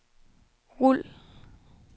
rul